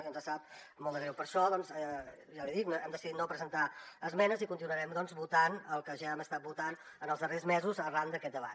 i ens sap molt de greu per això doncs ja l’hi dic hem decidit no presentar esmenes i continuarem votant el que ja hem estat votant en els darrers mesos arran d’aquest debat